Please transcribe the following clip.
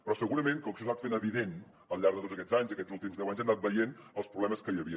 però segurament com que això s’ha anat fent evident al llarg de tots aquests anys aquests últims deu anys hem anat veient els problemes que hi havia